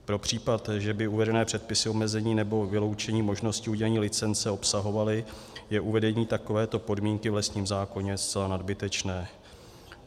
Pro případ, že by uvedené předpisy omezení nebo vyloučení možnosti udělení licence obsahovaly, je uvedení takovéto podmínky v lesním zákoně zcela nadbytečné.